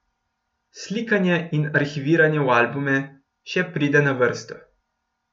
Slikanje in arhiviranje v albume, še pride na vrsto.